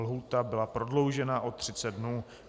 Lhůta byla prodloužena o 30 dnů.